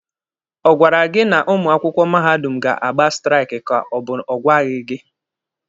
Ọ gwara gị na ụmụ akwụkwọ mahadum ga-agba straiki ka ọ bụ ọ gwaghị gị?